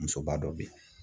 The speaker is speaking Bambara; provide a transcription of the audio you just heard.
Musoba dɔ bɛ yen.